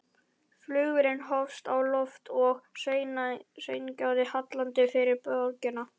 Flugvélin hófst á loft og sveigði hallandi yfir borgina.